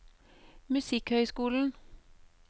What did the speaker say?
musikkhøyskolen